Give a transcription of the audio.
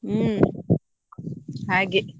ಹ್ಮ್ ಹಾಗೆ.